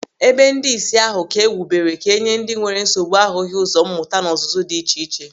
Ebe ndị ìsì ahụ ka e wubere ka e nye ndị nwere nsogbu ahụghị ụzọ mmụta na ọzụzụ dị iche iche.